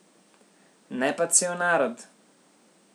Ne pa cel narod.